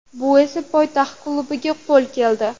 Bu esa poytaxt klubiga qo‘l keldi.